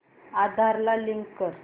आधार ला लिंक कर